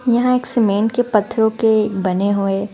यहाँ एक सीमेंट के पत्थरों के बने हुए--